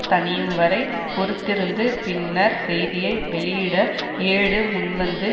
தணியும் வரை பொறுத்திருந்து பின்னர் செய்தியை வெளியிட ஏடு முன்வந்து